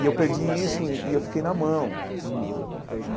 E eu perdi isso e e eu fiquei na mão num.